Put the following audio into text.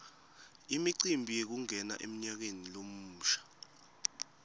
imicimbi yekungena emnyakeni lomusha